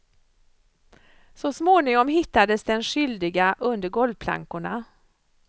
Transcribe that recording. Så småningom hittades den skyldiga under golvplankorna.